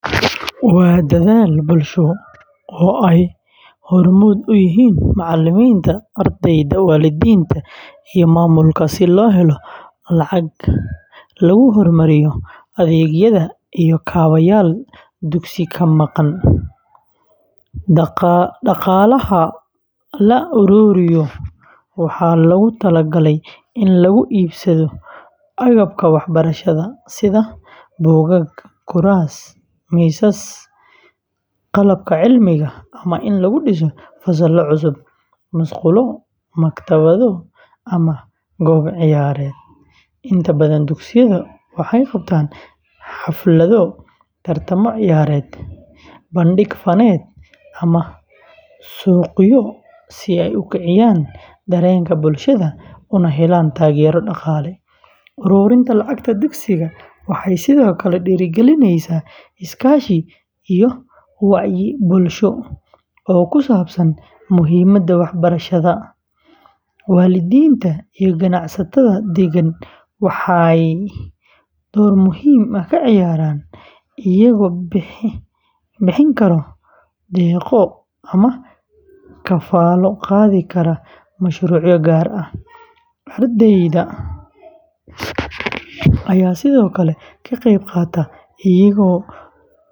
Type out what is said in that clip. Waa dadaal bulsho oo ay hormuud u yihiin macalimiinta, ardayda, waalidiinta, iyo maamulka si loo helo lacag lagu horumariyo adeegyada iyo kaabayaal dugsiga ka maqan. Dhaqaalaha la ururiyo waxaa loogu tala galay in lagu iibsado agabka waxbarashada sida buugaag, kuraas, miisas, qalabka cilmiga, ama in lagu dhiso fasallo cusub, musqulo, maktabado, ama goob ciyaareed. Inta badan dugsiyada waxay qabtaan xaflado, tartamo ciyaareed, bandhig faneed, ama suuqyo si ay u kiciyan dareenka bulshada una helaan taageero dhaqaale. Uruurinta lacagta dugsiga waxay sidoo kale dhiirrigelisaa iskaashi iyo wacyi bulsho oo ku saabsan muhiimadda waxbarashada. Waalidiinta iyo ganacsatada deegaanka waxay door muhiim ah ka ciyaaraan, iyagoo bixin kara deeqo ama kafaalo qaadi kara mashruucyo gaar ah. Ardayda ayaa sidoo kale ka qayb qaata iyagoo.